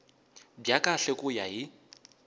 bya kahle ku ya hi